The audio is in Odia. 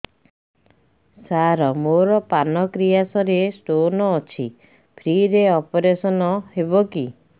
ସାର ମୋର ପାନକ୍ରିଆସ ରେ ସ୍ଟୋନ ଅଛି ଫ୍ରି ରେ ଅପେରସନ ହେବ କି